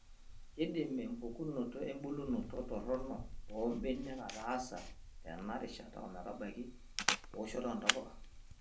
Keidim empukunoto embulunoto toronok oo mbanenk ataasai tena rishata ometabaiki ewoshoto oo ntapuka.